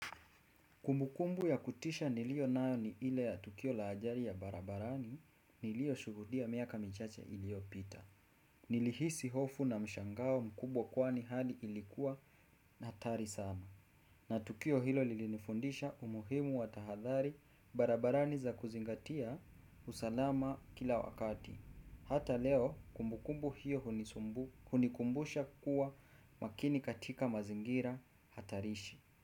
Kumbukumbu ya kutisha nilionayo ni ile ya tukio la ajali ya barabarani nilioshuhudia miaka michache iliyopita. Nilihisi hofu na mshangao mkubwa kwani hali ilikuwa ni hatari sana. Na tukio hilo lilinifundisha umuhimu wa tahadhali barabarani za kuzingatia usalama kila wakati. Hata leo kumbukumbu hiyo hunikumbusha kuwa makini katika mazingira hatarishi.